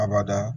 Abada